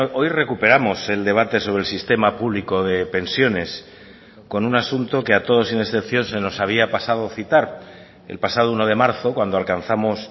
hoy recuperamos el debate sobre el sistema público de pensiones con un asunto que ha todos sin excepción se nos había pasado citar el pasado uno de marzo cuando alcanzamos